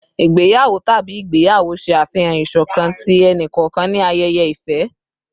Igbeyawo tabi igbeyawo ṣe afihan iṣọkan ti ẹni-kọọkan ni ayẹyẹ ifẹ